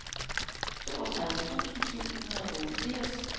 toogtredive tusind syv hundrede og otteogfirs